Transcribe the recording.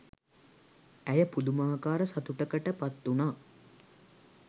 ඇය පුදුමාකාර සතුටකට පත්වුනා